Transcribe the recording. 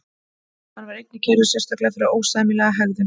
Hann var einnig kærður sérstaklega fyrir ósæmilega hegðun.